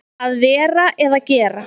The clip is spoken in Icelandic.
Að vera eða gera